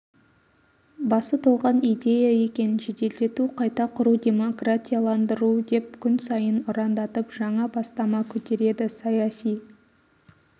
басы толған идея екен жеделдету қайта құру демократияландыру деп күн сайын ұрандатып жаңа бастама көтереді саяси